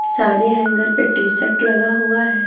सारे हैंगर पे टी-शर्ट लगा हुआ है।